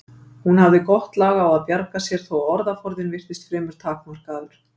Hún hafði gott lag á að bjarga sér þó að orðaforðinn virtist fremur takmarkaður.